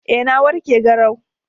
Eh na warke garau